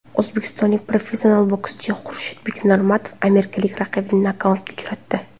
O‘zbekistonlik professional bokschi Xurshidbek Normatov amerikalik raqibini nokautga uchratdi .